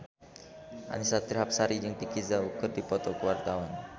Annisa Trihapsari jeung Vicki Zao keur dipoto ku wartawan